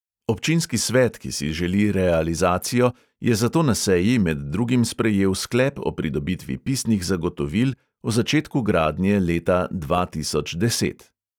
Občinski svet, ki si želi realizacijo, je zato na seji med drugim sprejel sklep o pridobitvi pisnih zagotovil o začetku gradnje leta dva tisoč deset.